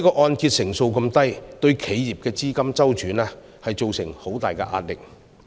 按揭成數低對企業的資金周轉會造成很大壓力。